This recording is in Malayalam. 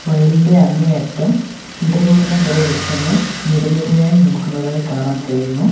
വയലിന്റെ അങ്ങേയറ്റം ഇടതൂർന്ന കുറെ വൃക്ഷങ്ങൾ നിരനിരയായി നിൽക്കുന്നതായി കാണാൻ കഴിയുന്നു.